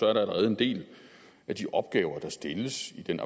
er der allerede en del af de opgaver der stilles i den